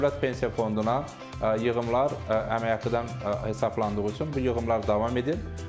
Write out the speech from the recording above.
Dövlət pensiya fonduna yığımlar əmək haqqıdan hesablalandığı üçün bu yığımlar davam edir.